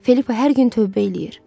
Filippa hər gün tövbə eləyir.